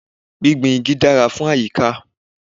Gbígbin igi dára fún àyíká.